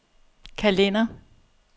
kalender